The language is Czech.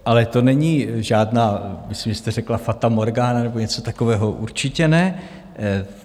Ale to není žádná, myslím, že jste řekla fata morgána nebo něco takového, určitě ne.